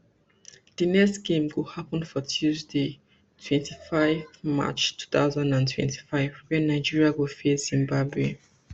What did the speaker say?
di next game go happun for tuesday twenty-five march two thousand and twenty-five wen nigeria go face zimbabwe